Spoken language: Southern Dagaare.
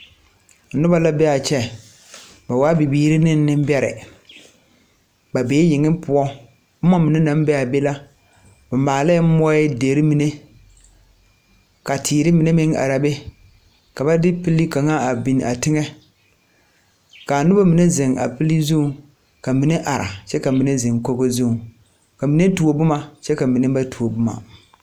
Noba la be a kyɛ ba waa biiri ne nembɛrɛ bee yeŋe poɔ boma naŋ be a be la ba maalee moɔdere ka teere mine meŋ are a be ka ba de pelee kaŋa a biŋ a teŋɛ ka nobamine zeŋ a pilii zu ka mine are kyɛ ka zeŋ kogo zuŋ ka mine tuo boma kyɛ ka mine ba tuo boma.